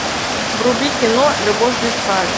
вруби кино любовь без правил